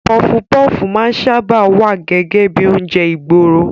Pọfupọ́fù máa ń sáábà wá gẹ́gẹ́ bíi oúnjẹ ìgboro.